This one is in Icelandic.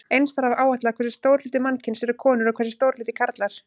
Eins þarf að áætla hversu stór hluti mannkyns eru konur og hversu stór hluti karlar.